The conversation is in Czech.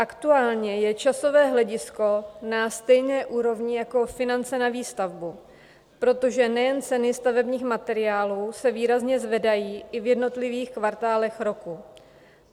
Aktuálně je časové hledisko na stejné úrovni jako finance na výstavbu, protože nejen ceny stavebních materiálů se výrazně zvedají i v jednotlivých kvartálech roku.